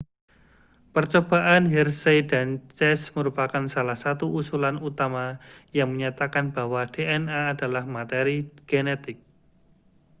percobaan hershey dan chase merupakan salah satu usulan utama yang menyatakan bahwa dna adalah materi genetik